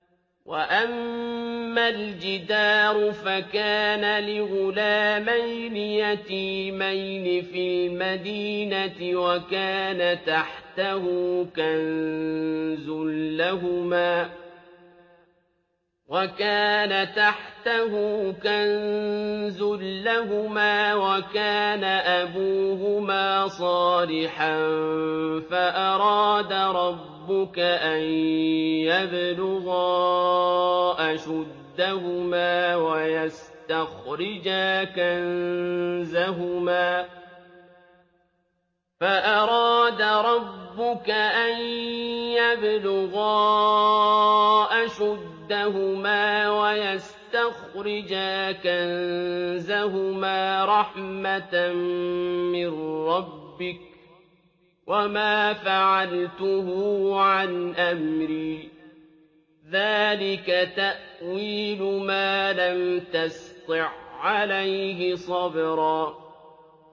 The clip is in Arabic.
وَأَمَّا الْجِدَارُ فَكَانَ لِغُلَامَيْنِ يَتِيمَيْنِ فِي الْمَدِينَةِ وَكَانَ تَحْتَهُ كَنزٌ لَّهُمَا وَكَانَ أَبُوهُمَا صَالِحًا فَأَرَادَ رَبُّكَ أَن يَبْلُغَا أَشُدَّهُمَا وَيَسْتَخْرِجَا كَنزَهُمَا رَحْمَةً مِّن رَّبِّكَ ۚ وَمَا فَعَلْتُهُ عَنْ أَمْرِي ۚ ذَٰلِكَ تَأْوِيلُ مَا لَمْ تَسْطِع عَّلَيْهِ صَبْرًا